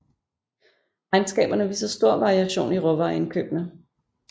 Regnskaberne viser stor variation i råvareindkøbene